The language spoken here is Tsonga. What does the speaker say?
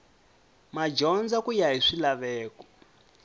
madyondza ku ya hi swilaveko